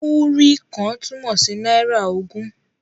Múrí kan' túmọ̀ sí náírà ogún.